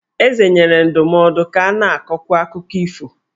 Eze nyere ndụmọdụ ka a na-akọkwu akụkọ ifo.